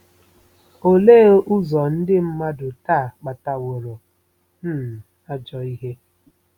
Olee ụzọ ndị mmadụ taa kpataworo um ajọ ihe?